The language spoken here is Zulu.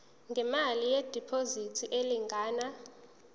ngemali yediphozithi elingana